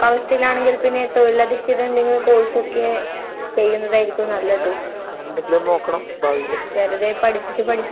എന്റെ കൂടെ പഠിച്ചവരെല്ലാം ആഹ് എന്റെ കൂടെ പഠിച്ചവരെല്ലായില്ലേ പഠിച്ചത് കൊണ്ടെന്നെ അവര് നല്ല ജോലീല് എഞ്ചിനീയർ ആയിട്ടു